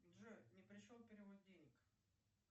джой не пришел перевод денег